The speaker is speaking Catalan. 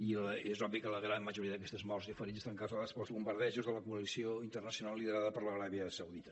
i és obvi que la gran majoria d’aquestes morts i ferits estan causades pels bombardejos de la coalició internacional liderada per l’aràbia saudita